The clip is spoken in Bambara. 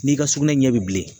N'i ka sugunɛ ɲɛ bɛ bilen